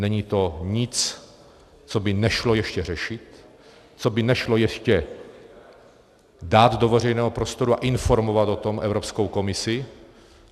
Není to nic, co by nešlo ještě řešit, co by nešlo ještě dát do veřejného prostoru a informovat o tom Evropskou komisi.